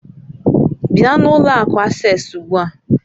Bịa n'ụlọ akụ Asés ugbu a!